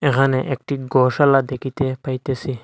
এখানে একটি গোসালা দেখিতে পাইতেসি।